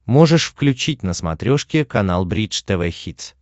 можешь включить на смотрешке канал бридж тв хитс